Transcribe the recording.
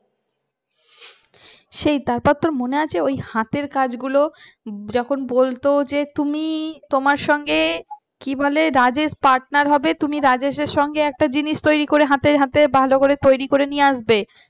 সেই তারপর তোর মনে আছে হাতের কাজগুলো যখন বলতো তুমি তোমার সঙ্গে কি বলে রাজেশ পার্টনার হবে তুমি রাজেশের সাথে একটা জিনিস তৈরি করে নিজের হাতে হতে ভালো করে তৈরি করে নিয়ে আসবে